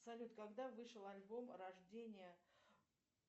салют когда вышел альбом рождение